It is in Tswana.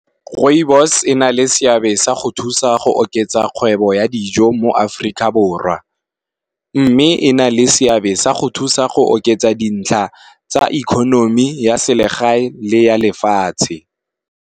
Rooibos ena le seabe sa go thusa go oketsa kgwebo ya dijo mo Africa borwa, mme e na le seabe sa go thusa go oketsa dintlha tsa economy ya selegae le ya lefatshe.